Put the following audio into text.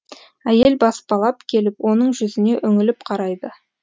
әйел баспалап келіп оның жүзіне үңіліп қарайды